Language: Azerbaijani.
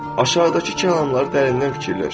Aşağıdakı kəlamları dərindən fikirləş.